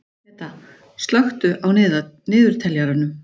Peta, slökktu á niðurteljaranum.